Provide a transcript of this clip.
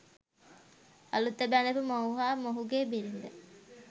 අලුත බැදපු මොහු හා මොහුගේ බිරිද